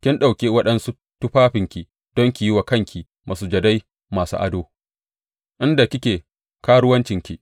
Kin ɗauki waɗansu tufafinki don ki yi wa kanki masujadai masu ado, inda kike karuwancinki.